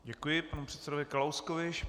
Děkuji panu předsedovi Kalouskovi.